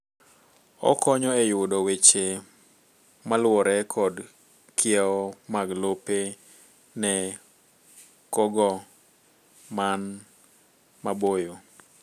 okonyo e yudo weche maluwore kod kiewo mag lope ne kogo man maboyo.